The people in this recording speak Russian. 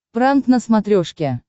пранк на смотрешке